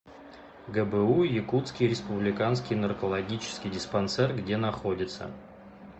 гбу якутский республиканский наркологический диспансер где находится